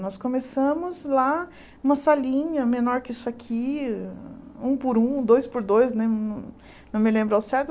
Nós começamos lá, numa salinha menor que isso aqui, um por um, dois por dois, né não não me lembro ao certo.